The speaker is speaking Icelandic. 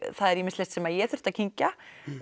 það er ýmislegt sem ég þurfti að kyngja